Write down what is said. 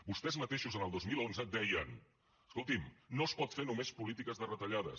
vostès mateixos el dos mil onze deien escoltin no es pot fer només polítiques de retallades